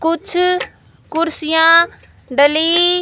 कुछ कुर्सियां डली--